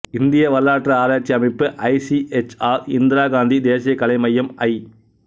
இந்திய வரலாற்று ஆராய்ச்சி அமைப்பு I C H R Indira Gandhi தேசிய கலை மையம் ஐ